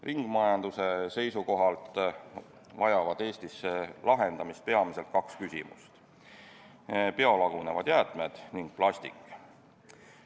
Ringmajanduse seisukohalt vajavad Eestis lahendamist peamiselt kaks küsimust: biolagunevad jäätmed ning plastik.